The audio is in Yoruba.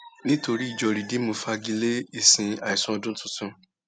nítorí ìjọ rìdììmù fagi lé ìsìn àìsùnọdún tuntun